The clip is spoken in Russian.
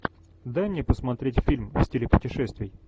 дай мне посмотреть фильм в стиле путешествий